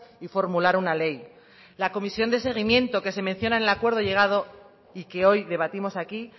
y formular una ley la comisión de seguimiento que se menciona en el acuerdo llegado y que hoy debatimos aquí